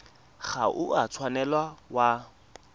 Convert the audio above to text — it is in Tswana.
ga o a tshwanela wa